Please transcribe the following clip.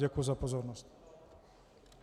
Děkuji za pozornost.